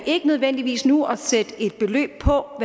ikke nødvendigvis nu at sætte et beløb på